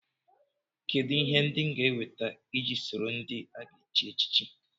Kedụ ihe ndị m ga-eweta iji sonyere ndị a ga-echi echichi